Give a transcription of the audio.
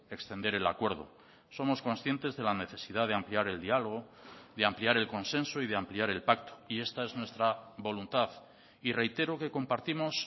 extender el acuerdo somos conscientes de la necesidad de ampliar el diálogo de ampliar el consenso y de ampliar el pacto y esta es nuestra voluntad y reitero que compartimos